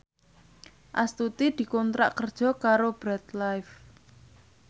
Astuti dikontrak kerja karo Bread Life